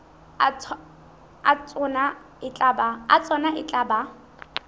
a tsona e tla ba